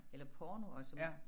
Eller porno og som